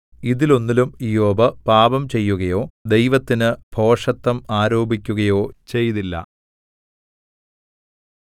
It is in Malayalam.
ഇതിലൊന്നിലും ഇയ്യോബ് പാപംചെയ്യുകയോ ദൈവത്തിന് ഭോഷത്തം ആരോപിക്കുകയോ ചെയ്തില്ല